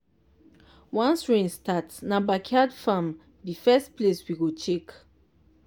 once rain start na backyard farm be first place we go check.